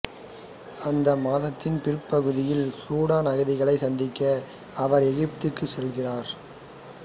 அந்த மாதத்தின் பிற்பகுதியில் சூடான் அகதிகளைச் சந்திக்க அவர் எகிப்துக்கு சென்றார்